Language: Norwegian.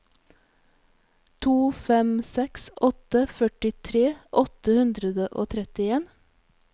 to fem seks åtte førtifire åtte hundre og trettien